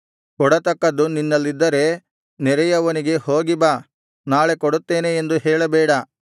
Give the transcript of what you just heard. ಕೊಡತಕ್ಕದ್ದು ನಿನ್ನಲ್ಲಿದ್ದರೆ ನೆರೆಯವನಿಗೆ ಹೋಗಿ ಬಾ ನಾಳೆ ಕೊಡುತ್ತೇನೆ ಎಂದು ಹೇಳಬೇಡ